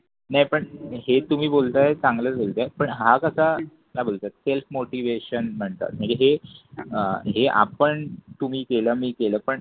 नाही पण हे तुम्ही बोलताय चांगलंच बोलताय पण हा कसा का बोलताय self motivation म्हणतात म्हणजे हे आपण तुम्ही केल मी केल पण